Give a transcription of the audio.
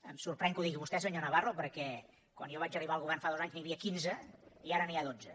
em sorprèn que ho digui vostè senyor navarro perquè quan jo vaig arribar al govern fa dos anys n’hi havia quinze i ara n’hi ha dotze